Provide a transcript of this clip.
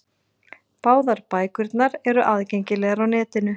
Báðar bækurnar eru aðgengilegar á netinu.